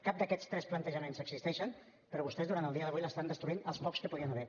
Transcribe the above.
cap d’aquests tres plantejaments existeixen però vostès durant el dia d’avui estan destruint els pocs que hi podien haver